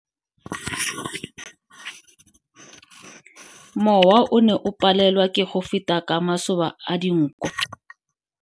Mowa o ne o palelwa ke go feta ka masoba a dinko.